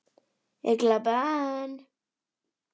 Ég glápi enn.